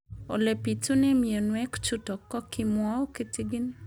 Ole pitune mionwek chutok ko kimwau kitig'�n